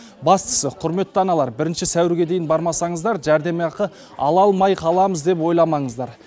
бастысы құрметті аналар бірінші сәуірге дейін бармасаңыздар жәрдемақы ала алмай қаламыз деп ойламаңыздар